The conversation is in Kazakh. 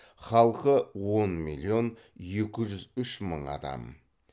халқы он миллион екі жүз үш мың адам